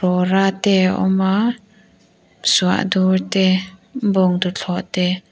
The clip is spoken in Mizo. rawra te awm a suahdur te bawngtuthlawh te.